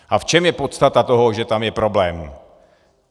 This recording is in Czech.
A v čem je podstata toho, že tam je problém?